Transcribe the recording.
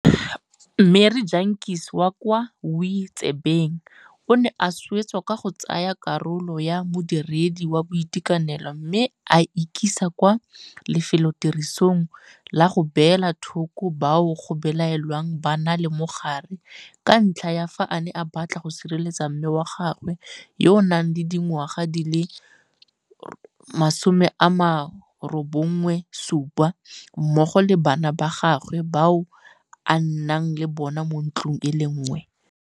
Marie Jantjies wa kwa Wi-tzebeng o ne a swetsa ka go tsaya kgakololo ya modiredi wa boitekanelo mme a ikisa kwa lefelotirisong la go beela thoko bao go belaelwang ba na le mogare ka ntlha ya fa a ne a batla go sireletsa mme wa gagwe yo a nang le dingwaga di le 97 mmogo le bana ba gagwe bao a nnang le bona mo ntlong e le nngwe.